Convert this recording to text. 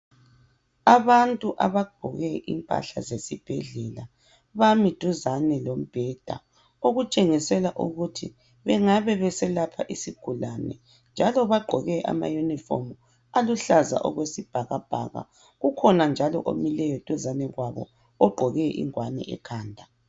Abantu abagqoke impahla zesibhedlela bami duzane lombheda okutshengisela ukuthi bengabe beselapha isigulane njalo bagqoke ama uniform aluhlaza okwesibhakabhaka. Kukhona njalo omileyo duzane kwabo ogqoke ingwane yabo ekhanda.